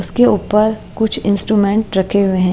उसके ऊपर कुछ इंस्ट्रूमेंट्स रखे हुए हैं।